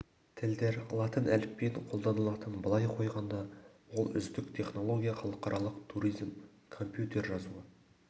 тілдер латын әліпбиін қолданылатын былай қойғанда ол үздік технология халықаралық туризм компьютер жазуы